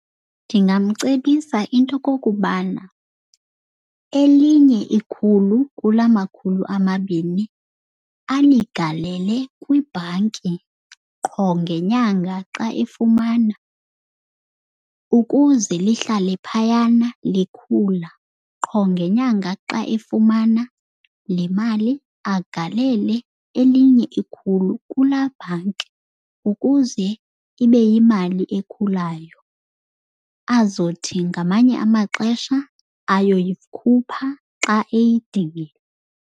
Ndingamcebisa into okokubana elinye ikhulu kula makhulu amabini aligalele kwibhanki qho ngenyanga xa efumana, ukuze lihlale phayana likhula. Qho ngenyanga xa efumana le mali agalele elinye ikhulu kulaa bhanki ukuze ibe yimali ekhulayo. Azothi ngamanye amaxesha ayoyikhupha xa eyidingile.